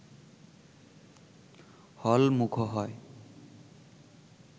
হল মুখো হয়